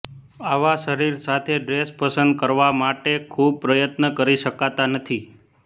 આવા શરીર સાથે ડ્રેસ પસંદ કરવા માટે ખૂબ પ્રયત્ન કરી શકતા નથી